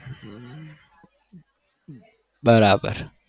હમ બરાબર